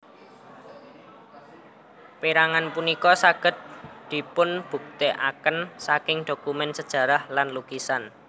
Perangan punika saged dipunbuktèkaken saking dokumen sajarah lan lukisan